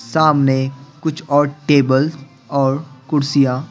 सामने कुछ और टेबल्स और कुर्सियां--